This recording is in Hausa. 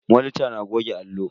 Monita na goge allo.